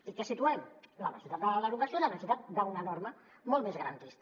i què situem la necessitat de la derogació i la necessitat d’una norma molt més ga·rantista